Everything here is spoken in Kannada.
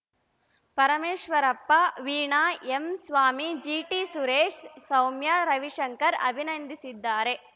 ಪರಮೇಶ್ವರಪ್ಪ ವೀಣಾ ಎಂ ಸ್ವಾಮಿ ಜಿಟಿ ಸುರೇಶ್‌ ಸೌಮ್ಯ ರವಿಶಂಕರ್‌ ಅಭಿನಂದಿಸಿದ್ದಾರೆ